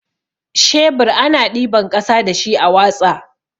Shebur ana ɗiban ƙasa dashi a watsa.